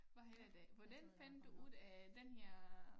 Hvad hedder det hvordan fandt du ud af den her